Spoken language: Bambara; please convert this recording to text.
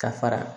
Ka fara